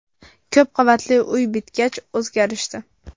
Ko‘p qavatli uy bitgach, o‘zgarishdi.